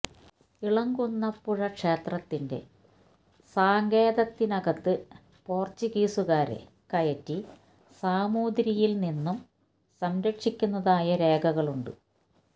ഇളങ്കുന്നപ്പുഴ ക്ഷേത്രത്തിന്റെ സങ്കേതത്തിനകത്ത് പോര്ച്ചുഗീസുകാരെ കയറ്റി സാമൂതിരിയില് നിന്നും സംരക്ഷിക്കുന്നതായുള്ള രേഖകളുണ്ട്